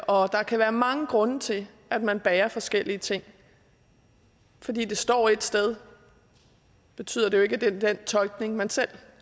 og der kan være mange grunde til at man bærer forskellige ting fordi det står ét sted betyder det jo ikke at det er den tolkning man selv